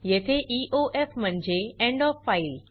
येथे ईओएफ म्हणजे end OF file